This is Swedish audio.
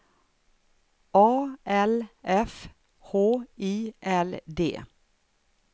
A L F H I L D